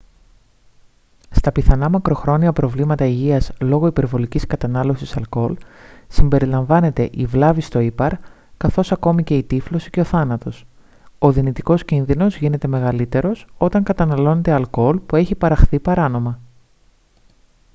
στα πιθανά μακροχρόνια προβλήματα υγείας λόγω υπερβολικής κατανάλωσης αλκοόλ συμπεριλαμβάνεται η βλάβη στο ήπαρ καθώς ακόμη και η τύφλωση και ο θάνατος ο δυνητικός κίνδυνος γίνεται μεγαλύτερος όταν καταναλώνετε αλκοόλ που έχει παραχθεί παράνομα